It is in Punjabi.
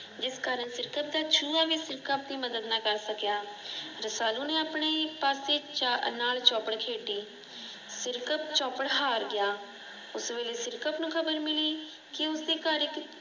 ਜਿਸ ਕਾਰਨ ਸਿਰਕਤ ਦਾ ਚੂਹਾ ਭੀ ਸਿਰਕਤ ਦੀ ਮਦਦ ਨਾ ਕਰ ਸਕਿਆ। ਰਸਾਲੂ ਨੇ ਆਪਣੇ ਪਾਸੇ ਅਨਾਰ ਚੌਪੜ ਖੇਡੀ। ਸਿਰਕਤ ਚੌਪੜ ਹਾਰ ਗਿਆ। ਉਸ ਵੇਲੇ ਸਿਰਕਤ ਨੂੰ ਖ਼ਬਰ ਮਿਲੀ ਕਿ ਉਸਦੇ ਘਰ ਇਕ